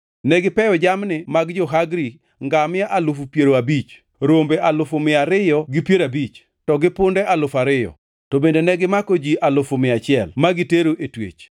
Negipeyo jamni mag jo-Hagri, ngamia alufu piero abich (50,000), rombe alufu mia ariyo gi piero abich (250,000), to gi punde alufu ariyo (2,000). To bende negimako ji alufu mia achiel (100,000) ma gitero e twech,